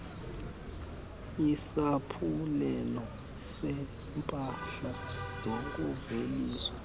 isaphulelo seeempahla zokuveliswa